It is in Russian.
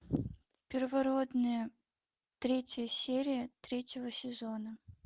первородные третья серия третьего сезона